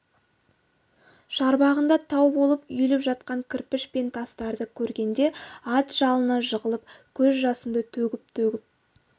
шарбағында тау болып үйіліп жатқан кірпіш пен тастарды көргенде ат жалына жығылып көз жасымды төгіп-төгіп